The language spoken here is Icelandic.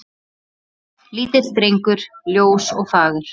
Lítill drengur ljós og fagur.